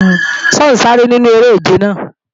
Ṣé ọ̀ ń sáré nínú eré-ìje náà?